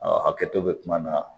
A hakɛ to bɛ kuma na